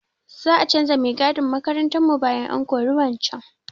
Za a canza mai gadin makarantarmu bayan an kori wancan.